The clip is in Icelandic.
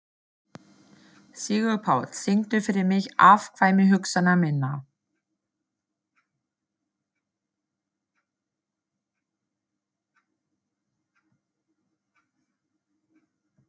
Sigurpáll, syngdu fyrir mig „Afkvæmi hugsana minna“.